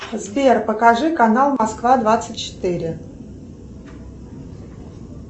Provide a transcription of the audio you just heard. сбер покажи канал москва двадцать четыре